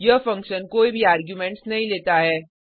यह फंक्शन कोई भी आर्गुमेंट्स नहीं लेता है